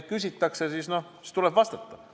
Kui küsitakse, siis tuleb vastata.